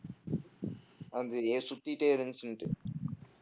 சுத்திட்டே இருந்துச்சுன்னுட்டு